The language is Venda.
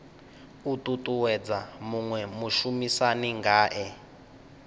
u ṱuṱuwedza muṅwe mushumisani ngae